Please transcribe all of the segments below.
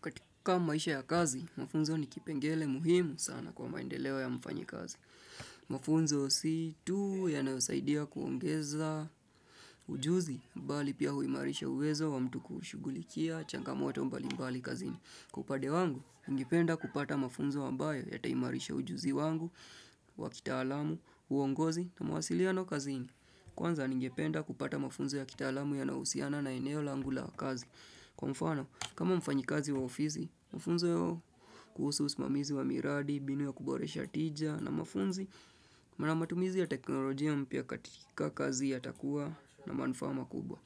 Katika maisha ya kazi, mafunzo ni kipengelee muhimu sana kwa maendeleo ya mfanyikazi. Mafunzo si tu yanayosaidia kuongeza ujuzi, bali pia huimarisha uwezo wa mtu kushughulikia, changamoto mbali mbali kazini. Kwa upande wangu, ningependa kupata mafunzo ambayo yataimarisha ujuzi wangu, wakitaalamu, uongozi, na mawasiliano kazini. Kwanza ningependa kupata mafunzo ya kitaalamu yanayohusiana na eneo langu la kazi. Kwa mfano, kama mfanyikazi wa ofisi, mafunzo kuhusu usimamizi wa miradi, mbinu ya kuboresha tija na mafunzi, na matumizi ya teknolojia mpya katika kazi yatakua na manufaa kubwa.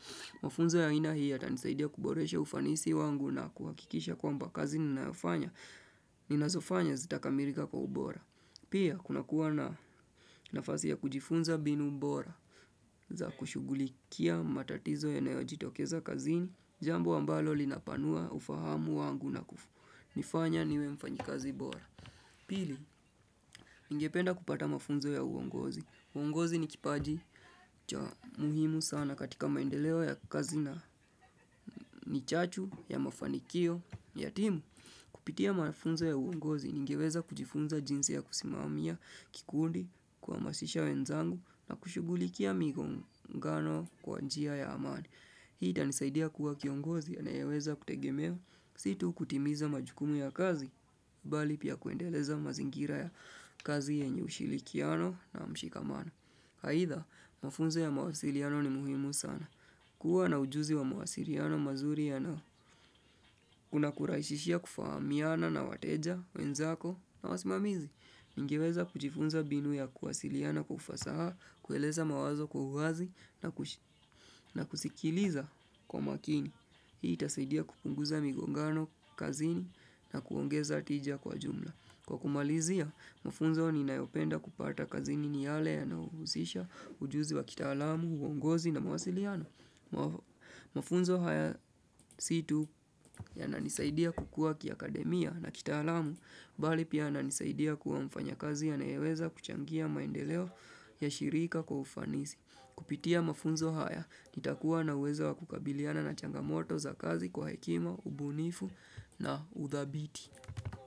Mafunzo ya aina hii yatanisaidia kuboresha ufanisi wangu na kuhakikisha kwamba kazi ninazofanya zitakamilika kwa ubora. Pia, kunakuwa na nafasi ya kujifunza mbinu bora za kushughulikia matatizo yanayojitokeza kazini, jambo ambalo linapanua ufahamu wangu na kunifanya, niwe mfanyikazi bora. Pili, ningependa kupata mafunzo ya uongozi. Uongozi ni kipaji cha muhimu sana katika maendeleo ya kazi na ni chachu, ya mafanikio, ya timu. Kupitia mafunzo ya uongozi, ningeweza kujifunza jinsi ya kusimamia, kikundi, kuhamasisha wenzangu, na kushughulikia migongano kwa njia ya amani. Hii itanisaidia kuwa kiongozi anayeweza kutegemewa, si tu kutimiza majukumu ya kazi, bali pia kuendeleza mazingira ya kazi yenye ushirikiano na mshikamano. Aidha, mafunzo ya mawasiliano ni muhimu sana. Kuwa na ujuzi wa mawasiliano mazuri kunakurahisishia kufahamiana na wateja, wenzako na wasimamizi. Ningeweza kujifunza mbinu ya kuwasiliana kwa ufasaha, kueleza mawazo kwa uwazi na kusikiliza kwa makini. Hii itasaidia kupunguza migongano kazini na kuongeza tija kwa jumla. Kwa kumalizia, mafunzo ninayopenda kupata kazini ni yale ya nahusisha ujuzi wa kitaalamu, uongozi na mawasiliano. Mafunzo haya si tu yananisaidia kukua kiakademia na kitaalamu Bali pia inanisaidia kuwa mfanyikazi anayeweza kuchangia maendeleo ya shirika kwa ufanisi Kupitia mafunzo haya nitakuwa na uwezo wa kukabiliana na changamoto za kazi kwa hekima, ubunifu na udhabiti.